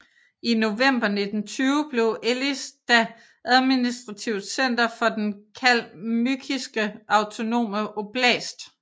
I november 1920 blev Elista administrativt center for Den kalmykiske autonome oblast